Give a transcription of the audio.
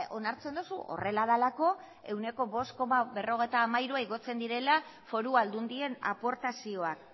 onartzen duzu horrela delako ehuneko bost koma berrogeita hamairua igotzen direla foru aldundien aportazioak